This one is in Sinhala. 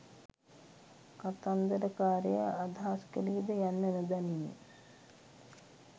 කතන්දරකාරයා අදහස් කළේද යන්න නොදනිමි.